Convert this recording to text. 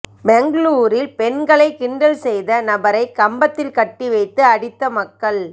பெங்களூரில் பெண்களை கிண்டல் செய்த நபரை கம்பத்தில் கட்டி வைத்து அடித்த மக்கள்